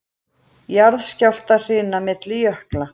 Jarðskjálftahrina milli jökla